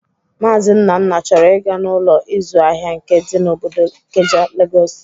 Maazi Nnanna chọrọ ị ga n'Ụlọ ịzụ ahịa nke dị n'obodo Ikeja, Legọs